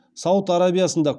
сауд арабиясында